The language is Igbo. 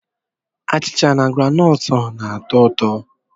Achịcha na groundnut na-atọ ụtọ.